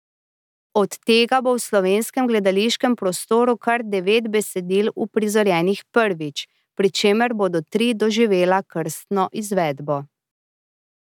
Od tega bo v slovenskem gledališkem prostoru kar devet besedil uprizorjenih prvič, pri čemer bodo tri doživela krstno izvedbo.